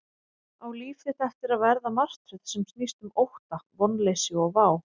Á líf þitt eftir að verða martröð sem snýst um ótta, vonleysi og vá?